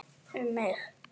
Um mig?